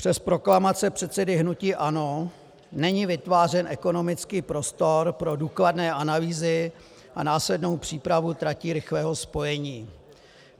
Přes proklamace předsedy hnutí ANO není vytvářen ekonomický prostor pro důkladné analýzy a následnou přípravu tratí rychlého spojení.